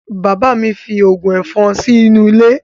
Bàbá mi fín ògùn ẹ̀fọn sínú ilé